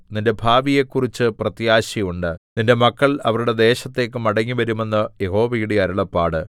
നിന്റെ ഭാവിയെക്കുറിച്ച് പ്രത്യാശയുണ്ട് നിന്റെ മക്കൾ അവരുടെ ദേശത്തേക്ക് മടങ്ങിവരും എന്ന് യഹോവയുടെ അരുളപ്പാട്